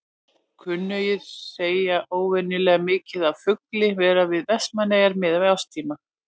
Kunnugir segja óvenjulega mikið af fugli vera við Vestmannaeyjar miðað við árstíma.